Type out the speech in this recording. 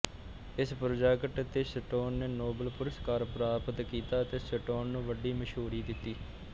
ਇਸ ਪ੍ਰੋਜੈਕਟ ਤੇ ਸਟੋਨ ਨੇ ਨੋਬਲ ਪੁਰਸਕਾਰ ਪ੍ਰਾਪਤ ਕੀਤਾ ਤੇ ਸਟੋਨ ਨੂੰ ਵੱਡੀ ਮਸ਼ਹੂਰੀ ਦਿੱਤੀ